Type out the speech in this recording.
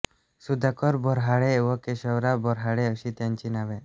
सुधाकर बोऱ्हाडे व केशवराव बोऱ्हाडे अशी त्यांची नावे